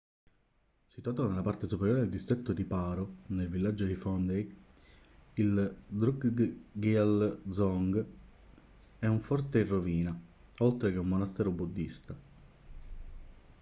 situato nella parte superiore del distretto di paro nel villaggio di phondey il drukgyal dzong è un forte in rovina oltre che un monastero buddista